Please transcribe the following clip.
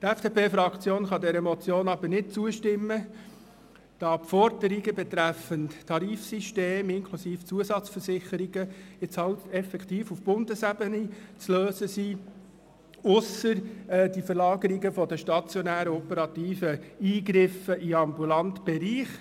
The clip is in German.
Die FDP-Fraktion kann dieser Motion aber nicht zustimmen, denn die Forderungen betreffend Tarifsystem inklusive Zusatzversicherungen sind halt effektiv auf Bundesebene zu lösen, ausser den Verlagerungen der stationären operativen Eingriffe in den ambulanten Bereich.